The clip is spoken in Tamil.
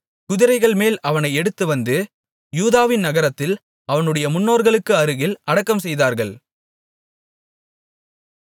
குதிரைகள்மேல் அவனை எடுத்து வந்து யூதாவின் நகரத்தில் அவனுடைய முன்னோர்களுக்கு அருகில் அடக்கம்செய்தார்கள்